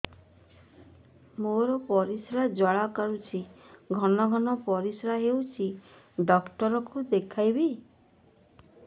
ମୋର ପରିଶ୍ରା ଜ୍ୱାଳା କରୁଛି ଘନ ଘନ ପରିଶ୍ରା ହେଉଛି ଡକ୍ଟର କୁ ଦେଖାଇବି